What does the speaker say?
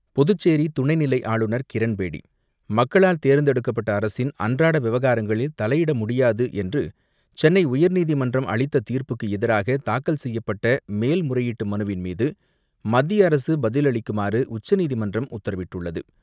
புதுச்சேரி துணைநிலை ஆளுநர் கிரண்பேடி, மக்களால் தேர்ந்தெடுக்கப்பட்ட அரசின் அன்றாட விவகாரங்களில் தலையிட முடியாது என்று சென்னை உயர்நீதிமன்றம் அளித்த தீர்ப்புக்கு எதிராக தாக்கல் செய்யப்பட்ட மேல் முறையீட்டு மனுவின் மீது மத்திய அரசு பதிலளிக்குமாறு உச்சநீதிமன்றம் உத்தரவிட்டுள்ளது.